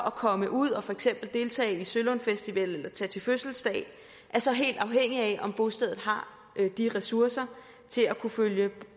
at komme ud og for eksempel deltage i sølundfestival eller tage til fødselsdag er så helt afhængig af om bostedet har de ressourcer til at følge